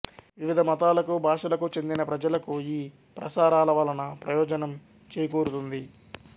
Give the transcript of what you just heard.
వివిధ మతాలకు భాషలకు చెందిన ప్రజలకు ఈ ప్రసారాలవలన ప్రయోజనంచేకూరుతుంది